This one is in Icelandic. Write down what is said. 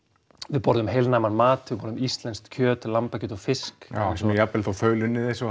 við borðum heilnæman mat við borðum íslenskt kjöt lambakjöt og fisk já sem er jafnvel þó þaulunnið eins og